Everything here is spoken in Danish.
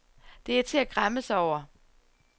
Det er til at græmme sig over.